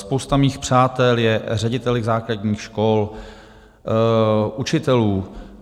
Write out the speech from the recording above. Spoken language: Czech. Spousta mých přátel je řediteli základních škol, učiteli.